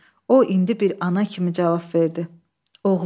O indi bir ana kimi cavab verdi: Oğlum.